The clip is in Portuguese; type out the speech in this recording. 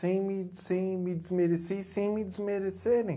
Sem me, sem me desmerecer e sem me desmerecerem.